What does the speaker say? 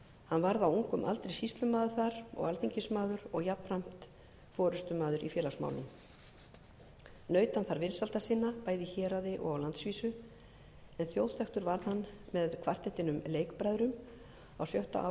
hann varð á ungum aldri sýslumaður þar og alþingismaður og jafnframt forustumaður í félagsmálum naut hann þar vinsælda sinna bæði í héraði og á landsvísu en þjóðþekktur varð hann með kvartettinum leikbræðrum á sjötta